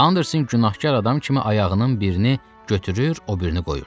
Anderson günahkar adam kimi ayağının birini götürür, o birini qoyurdu.